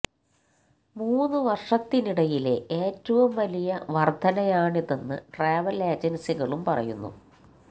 മൂന്നു വര്ഷത്തിനിടയിലെ ഏറ്റവും വലിയ വര്ധനയാണിതെന്നു ട്രാവല് ഏജന്സികളും പറയുന്നു